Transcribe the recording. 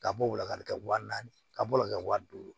Ka bɔ o wula kari kɛ wa naani ka bɔ ka kɛ wa duuru